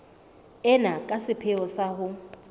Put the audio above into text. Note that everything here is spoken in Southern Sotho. ena ka sepheo sa ho